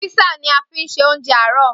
Písà ni a fi ṣe oúnjẹ àárọ̀